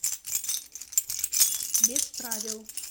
без правил